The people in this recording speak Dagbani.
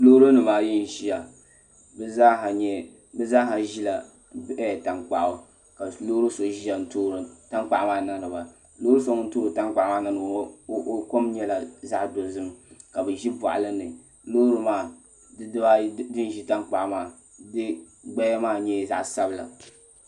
Loori nimaayi n ʒiya bi zaaha ʒila tankpaɣu ka loori so ʒɛya n toori tankpaɣu maa niŋdiba loori so ŋun toori tankpaɣu maa niŋdiba maa o kom nyɛla zaŋ dozim ka bi ʒi boɣali ni loori maa di dibaayi din ʒi tankpaɣu maa gbaya maa nyɛla zaɣ sabila